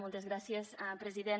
moltes gràcies president